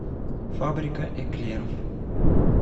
фабрика эклеров